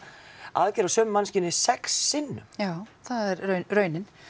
aðgerð á sömu manneskjunni sex sinnum já það er raunin